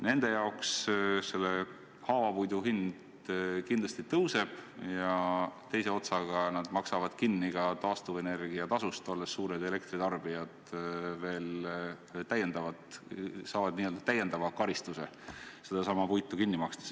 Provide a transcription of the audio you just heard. Nende jaoks haavapuidu hind kindlasti tõuseb ja teiseks maksavad nad kinni ka taastuvenergia tasu, olles suured elektritarbijad, veel täiendavalt, st saavad n-ö täiendava karistuse.